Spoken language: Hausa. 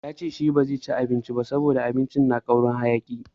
Wai shi ba zai ci abincin ba saboda abincin tana ƙaurin hayaki.